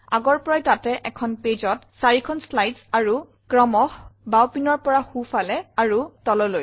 আগৰ পৰাই তাতে এখন pageত ৪খন শ্লাইডছ আৰু ক্ৰমশঃ বাওঁপিনৰ পৰা সোঁফালে তললৈ